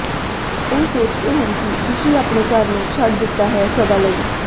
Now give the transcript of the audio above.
ਉਹ ਸੋਚਦੇ ਹਨ ਕਿ ਖ਼ੁਸ਼ੀ ਆਪਣੇ ਘਰ ਨੂੰ ਛੱਡ ਦਿੱਤਾ ਹੈ ਸਦਾ ਲਈ